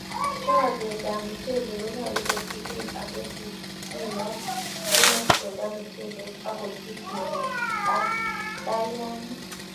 Choketab mochelek konyolu kotilil ako susyinot simochunda muchelek ak kochut murek ak kalyang'ik.